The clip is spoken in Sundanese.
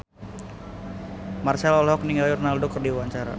Marchell olohok ningali Ronaldo keur diwawancara